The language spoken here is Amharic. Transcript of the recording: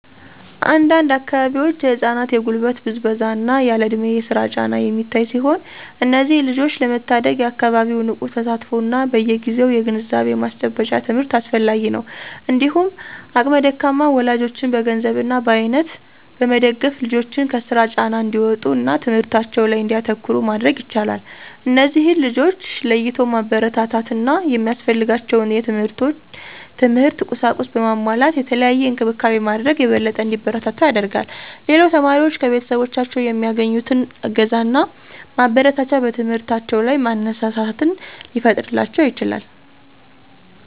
አንድ አንድ አካባቢዎች የህፃናት የጉልበት ብዝበዛ እና ያለእድሜ የስራ ጫና የሚታይ ሲሆን እነዚህን ልጆች ለመታደግ የአካባቢው ንቁ ተሳትፎ እና በየግዜው የግንዛቤ ማስጨበጫ ትምህርት አስፈላጊ ነው። እንዲሁም አቅመ ደካማ ወላጆችን በገንዘብ እና በአይነት በመደገፍ ልጆችን ከስራ ጫና እንዲወጡ እና ትምህርታቸው ላይ እንዲያተኩሩ ማድረግ ይቻላል። እነዚህን ልጆች ለይቶ ማበረታታት እና ሚያስፈልጋቸውን የትምህርት ቁሳቁስ በማሟላት የተለየ እንክብካቤ ማድረግ የበለጠ እንዲበረቱ ያደርጋል። ሌላው ተማሪዎች ከቤተሰቦቻቸው የሚያገኙት እገዛና ማበረታቻ በትምህርታቸው ላይ መነሳሳትን ሊፈጥርላቸው ይችላል።